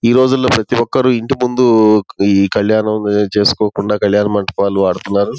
ఈ రోజుల్లో ప్రతి ఒక్కరి ఇంటి ముందు ఈ కళ్యాణం చేసుకోకుండా కల్యాణ మండపాలు వాడుతున్నారు